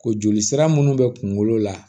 Ko joli sira minnu bɛ kungolo la